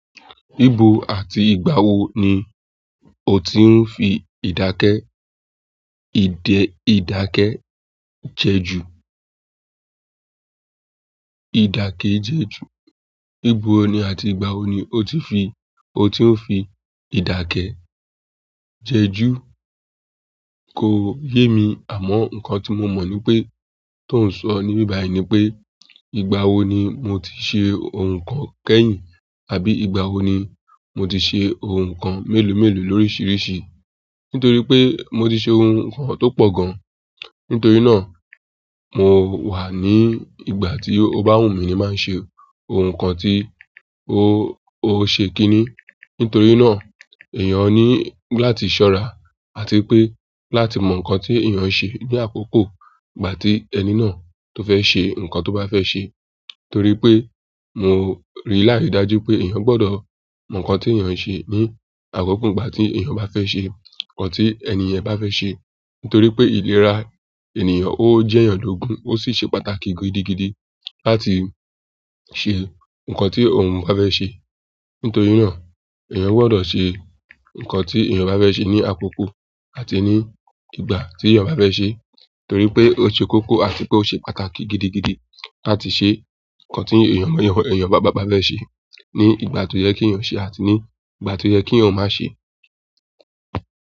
Ibo àti ìgbà wo ni o ti ń fi ìdákẹ́, ìdẹ, ìdákẹ́ jẹ́ ju? Ìdákẹ́ jẹ́ ju. Ibo ní àti ìgbà wo ni o ti fi, o ti ń fi ìdákẹ́ jẹ́ jú? Kò yé mi àmọ́ nǹkan tí mo mọ̀ ni pé, tó ń sọ ní bíbàyí ni pé, ìgbà wo ni mo ti ṣe ohun kan kẹ́yìn, àbí ìgbà wo ni mo ti ṣe ohun kan mélòó mélòó lóríṣiríṣi. Nítorí pé mo ti ṣe ohun kan tó pọ̀ gan. Nítorí náà, mo wà ní ìgbà tí o bá wùn mí ní má ń ṣe ohun kan tí o, o ṣe kíni. Nítorí náà, èèyàn ní láti ṣọ́ra àti pé láti mọ̀ nǹkan tí èèyàn ń ṣe ní àkókò ìgbà tí ẹni náà tó fẹ́ ṣe nǹkan tó bá fẹ́ ṣe. Torí pé mo rí láridájú pé èèyàn gbọdọ̀ mọ̀ nǹkan tí èèyàn ń ṣe ní àkókò ìgbà tí èèyàn bá fẹ́ ṣe nǹkan tí ẹni ẹniyàn bá fẹ́ ṣe. Nítorí pé ìlera ènìyàn ó jẹ́ èèyàn lógun, ó sì ṣe pàtàkì gidigidi láti ṣe nǹkan tí òun bá fe ṣe. Nítorí náà, èèyàn gbọdọ̀ ṣe nǹkan tí èèyàn bá fẹ́ ṣe ní àkókò àti ní ìgbà tí èèyàn bá fẹ́ ṣe. Torí pé ó ṣe kókó àti pé ó ṣe pàtàkì gidigidi láti ṣe nǹkan tí èèyàn, èèyàn bá ba bá fẹ́ ṣe ní ìgbà tó yẹ kí èèyàn ṣe àti ní ìgbà tó yẹ kí èèyàn máa ṣe.